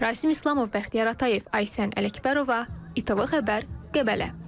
Rasim İslamov, Bəxtiyar Atayev, Aysən Ələkbərova, ATV Xəbər, Qəbələ.